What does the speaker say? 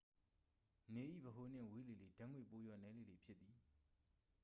နေ၏ ဗဟိုနှင့် ဝေးလေလေ ဓာတ်ငွေ ပိုလျော့နည်းလေလေ ဖြစ်သည်